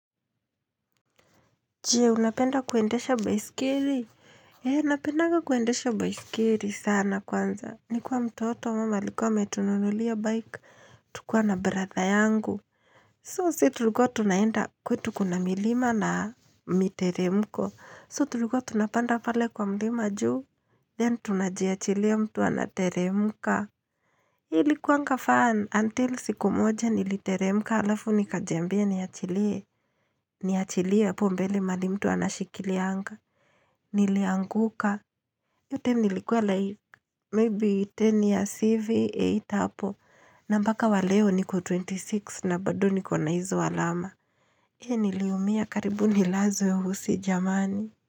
Je, unapenda kuendesha baisikeli? Eeh, napendanga kuendesha baisikeri sana kwanza. Ni kuwa mtoto, mum alikuwa ametunululia bike. Tukuwa na brother yangu. So, si tulikuwa tunaenda kwetu kuna milima na miteremko. So, tulikuwa tunapanda pale kwa mlima juu. Then, tunajiachilia mtu anateremka. Ilikuwanga fun until siku moja niliteremka alafu nikajiambia ni achilie Niachilie hapo mbele mahali mtu anashikilianga n Nilianguka.Hiyo time nilikuwa like maybe 10years hivi 8 hapo. Na mbaka wa leo niko 26 na bado niko na hizo alama. Hee niliumia karibu nilazwe hosi jamani.